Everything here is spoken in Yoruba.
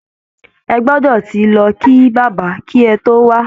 Ẹ gbọdọ ti lọ kí Bàbá kí ẹ tó wá!